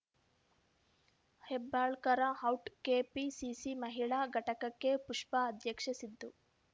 Hebbalkar out KPCC ಮಹಿಳಾ ಘಟಕಕ್ಕೆ ಪುಷ್ಪಾ ಅಧ್ಯಕ್ಷೆ ಸಿದ್ದು